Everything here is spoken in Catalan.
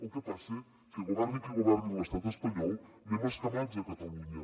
el que passa que governi qui governi a l’estat espanyol anem escamnats a catalunya